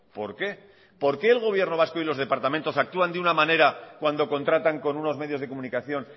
por qué por qué el gobierno vasco y los departamentos actúan de una manera cuando contratan con unos medios de comunicación